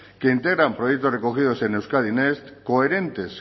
que integran proyectos recogidos en euskadi next coherentes